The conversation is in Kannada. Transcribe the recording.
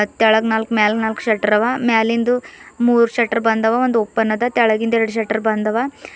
ತೆಳಗ್ ನಾಲ್ಕ್ ಮೇಲೆ ನಾಲ್ಕ್ ಶೆಟ್ರ್ ಅವ ಮ್ಯಾಲಿಂದು ಮೂರು ಶೆಟ್ರು ಬಂದವ ಒಂದು ಓಪನ್ ಅದ ತೆಳಗಿಂದ್ ಎರಡ್ ಶೆಟ್ರು ಬಂದವ.